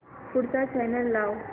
पुढचा चॅनल लाव